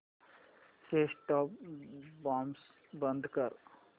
set top box बंद कर